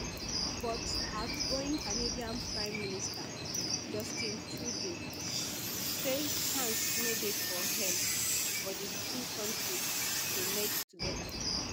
but outgoing canadian prime minister justin trudeau say chance no dey for hell for di two kontris to merge togeda